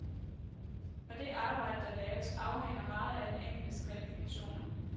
Og det arbejde, der laves, afhænger meget af den enkeltes kvalifikationer.